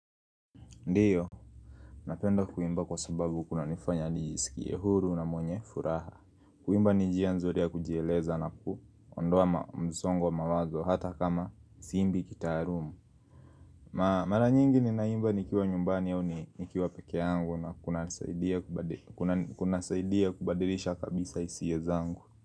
Ndiyo, napenda kuimba kwa sababu kunanifanya nijisikie huru na mwenye furaha Kuimba ni njia nzuri ya kujieleza na kuondoa msongo wa mawazo hata kama siimbi kitaharuma Mara nyingi ninaimba nikiwa nyumbani au nikiwa peke yangu na kuna saidia kubadilisha kabisa hisia zangu.